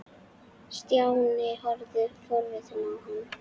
Stjáni horfði forviða á hann.